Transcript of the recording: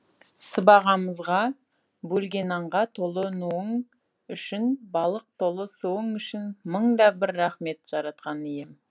сыбағамызға бөлгенаңға толы нуың үшін балық толы суың үшін мың да бір рахмет жаратқан ием